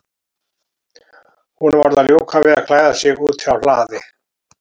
Hún varð að ljúka við að klæða sig úti á hlaði.